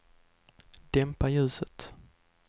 dämpa ljuset